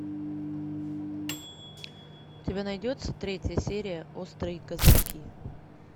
у тебя найдется третья серия острые козырьки